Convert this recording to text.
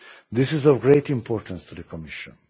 This is of great importance to the Commission.